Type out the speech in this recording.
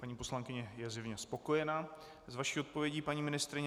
Paní poslankyně je zjevně spokojena s vaší odpovědí, paní ministryně.